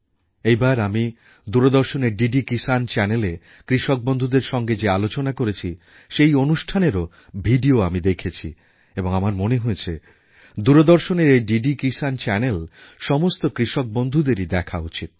এই বার আমি দূরদর্শনের ডি ডি কিষাণ চ্যানেলে কৃষক বন্ধুদের সঙ্গে যে আলোচনা করেছি সেই অনুষ্ঠানের ভিডিও আমি দেখেছি এবং আমার মনে হয়েছে দূরদর্শনের এই ডি ডি কিষাণ চ্যানেল সমস্ত কৃষকবন্ধুদেরই দেখা উচিৎ